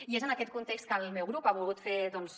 i és en aquest context que el meu grup ha volgut fer doncs